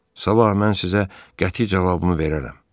Sabah mən sizə qəti cavabımı verərəm.